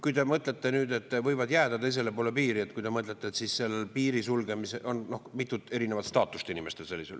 Kui te mõtlete nüüd, et võivad jääda teisele poole piiri, siis seal piiri sulgemise puhul on inimestel mitu erinevat staatust.